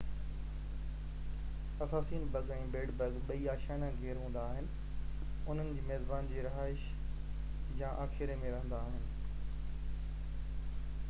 assassin bug ۽ bed bug ٻئي آشيانه گير هوندا آهن انهن جي ميزبان جي رهائش يا آخيري ۾ رهندا آهن